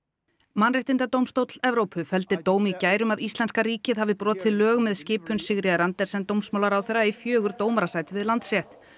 mannréttindadómstóll Evrópu felldi dóm í gær um að íslenska ríkið hafi brotið lög með skipun Sigríðar Andersen dómsmálaráðherra í fjögur dómarasæti við Landsrétt